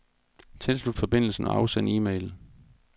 Tilslut forbindelsen og afsend e-mail.